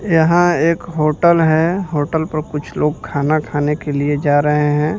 यहां एक होटल है होटल पर कुछ लोग खाना खाने के लिए जा रहे हैं।